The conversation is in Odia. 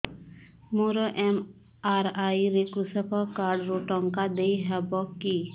ମୋର ଏମ.ଆର.ଆଇ ରେ କୃଷକ କାର୍ଡ ରୁ ଟଙ୍କା ଦେଇ ହବ କି